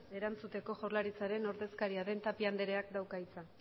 erantzuteko jaurlaritzaren ordezkaria den tapia andereak dauka hitza